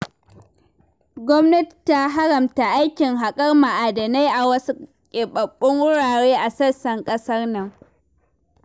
Gwamnati ta haramta aikin haƙar ma'adinai a wasu keɓaɓɓun wurare a sassan ƙasar nan.